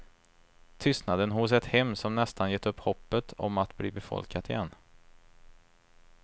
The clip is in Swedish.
Tystnaden hos ett hem som nästan gett upp hoppet om att bli befolkat igen.